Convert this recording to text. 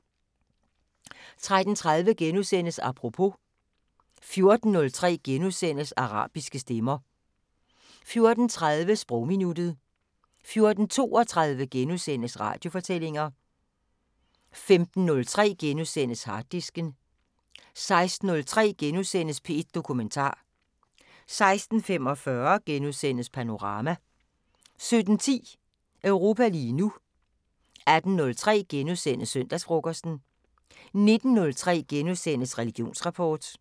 13:30: Apropos * 14:03: Arabiske stemmer * 14:30: Sprogminuttet 14:32: Radiofortællinger * 15:03: Harddisken * 16:03: P1 Dokumentar * 16:45: Panorama * 17:10: Europa lige nu 18:03: Søndagsfrokosten * 19:03: Religionsrapport *